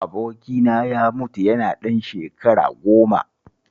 Abokina ya mutu yana ɗan shekara goma